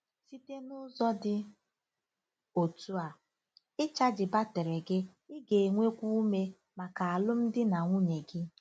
Site n'ụzọ dị otú a "ịchaji batrị gị," ị ga-enwekwu ume maka alụmdi na nwunye gị.